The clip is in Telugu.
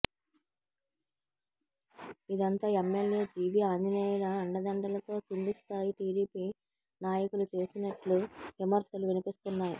ఇదంతా ఎమ్మెల్యే జీవీ ఆంజనేయుల అండదండలతో కింది స్థాయి టీడీపీ నాయకులు చేసినట్లు విమర్శలు వినిపిస్తున్నాయి